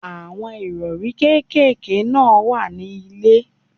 Àwọn Ìrọ̀rí kékeré náà wà ní ilè.